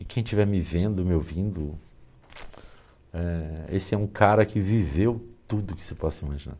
E quem estiver me vendo, me ouvindo, eh, esse é um cara que viveu tudo que você possa imaginar.